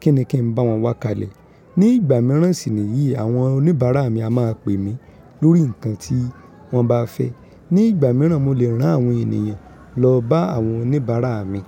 kíni kí n bá wọn wá kalẹ̀. Ni ìgbà míràn sì ni yìí, àwọn oníbàárà mi a máa pè mí lórí nǹkan tí wọ́n bá fẹ́. Ni ìgbà míràn, mo lè rán àwọn ènìyàn lọ bá àwọn oníbàárà mi.